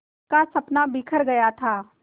का सपना बिखर गया था